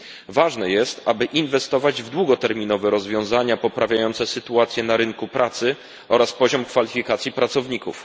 Ważne jest, aby inwestować w długoterminowe rozwiązania poprawiające sytuację na rynku pracy oraz poziom kwalifikacji pracowników.